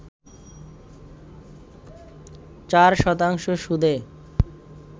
৪ শতাংশ সুদে